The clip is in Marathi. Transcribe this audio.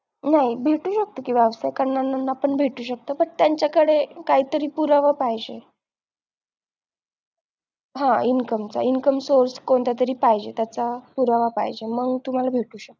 नाही भेटू शेकत कि व्यवसाय करणाऱ्यांना पण भेटू शकत but त्यांच्याकडे काहीतरी पुरावा पाहिजे हा income चा Income source कोणतातरी पाहिजे त्याचा पुरावा पाहिजे मग तुम्हाला भेटू शकत